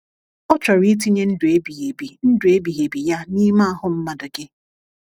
Ọ chọrọ itinye ndụ ebighi ebi ndụ ebighi ebi Ya n’ime ahụ mmadụ gị.